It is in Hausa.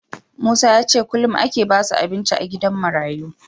Musa yace kullun ake basu abinci a gidan marayu